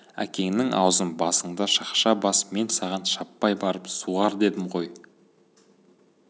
әкеңнің аузын басыңды шақша бас мен саған шаппай барып суғар дедім ғой